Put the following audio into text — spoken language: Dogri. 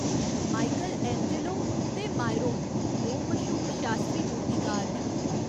माइकल एंजेलो ते मायरोन दो मश्हूर शास्त्री मूर्तिकार न।